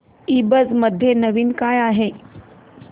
ईबझ मध्ये नवीन काय आहे